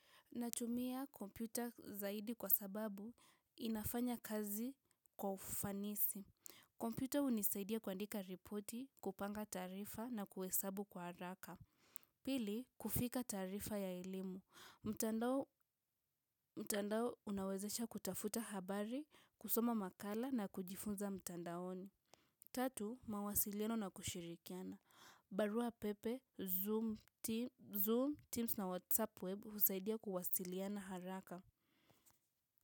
Natumia kompyuta zaidi kwa sababu inafanya kazi kwa ufanisi. Kompyuta unisaidia kuandika ripoti, kupanga taarifa na kuhesabu kwa haraka. Pili, kufika tarifa ya ilimu. Mtandao unawezesha kutafuta habari, kusoma makala na kujifunza mtandaoni. Tatu, mawasiliano na kushirikiana. Barua pepe, Zoom, Teams na WhatsApp web husaidia kuwasiliana haraka.